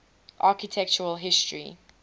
architectural history